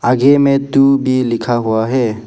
आगे में टू भी लिखा हुआ है।